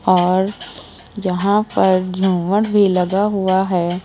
और यहां पर झूमर भी लगा हुआ है।